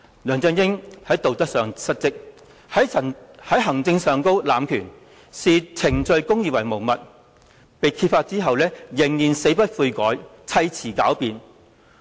梁振英在道德上失職，在行政上濫權，視程序公義為無物，事件被揭發後仍然死不悔改，砌詞狡辯。